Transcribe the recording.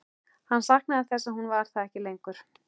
Hann saknaði þess að hún var það ekki lengur.